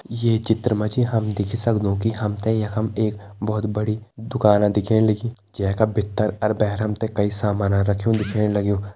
ये चित्र मा जी हम देखि सक्दु कि हम ते यखम एक बहोत बड़ी दुकाना दिखेण लगीं जै का भितर अर भैर हम ते कई सामाना रख्युं दिखेण लग्युं।